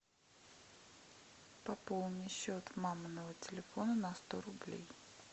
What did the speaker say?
пополни счет маминого телефона на сто рублей